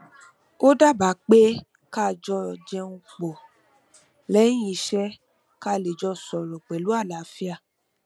ó daba pé ká jọ jẹun pọ lẹyìn iṣẹ ká lè jọ sọrọ pẹlú àlàáfíà